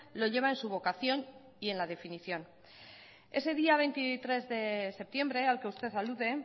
lo lleva en su vocación y en la definición ese día veintitrés de septiembre al que usted alude